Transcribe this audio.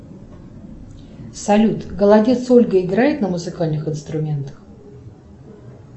салют голодец ольга играет на музыкальных инструментах